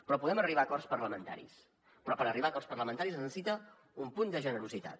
però podem arribar a acords parlamentaris però per arribar a acords parlamentaris es necessita un punt de generositat